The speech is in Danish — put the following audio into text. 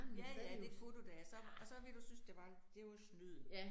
Ja ja, det kunne du da, og så, og så ville du synes, det var det var snyd